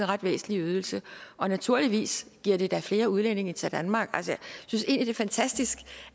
ret væsentlig ydelse og naturligvis giver det da flere udlændinge til danmark jeg synes egentlig fantastisk